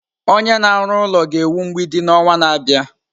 Onye na-arụ ụlọ ga-ewu mgbidi n'ọnwa na-abịa.